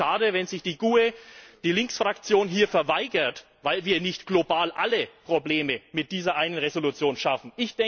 Und ich finde es schade, wenn sich die GUE, die Linksfraktion, hier verweigert, weil wir nicht global alle Probleme mit dieser einen Entschließung schaffen.